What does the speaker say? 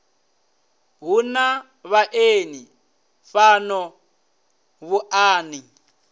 hu na vhaeni fhano muṱani